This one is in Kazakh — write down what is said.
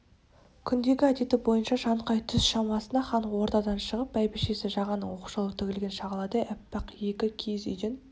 күндегі әдеті бойынша шаңқай түс шамасында хан ордадан шығып бәйбішесі жағанның оқшаулау тігілген шағаладай аппақ екі кигіз үйден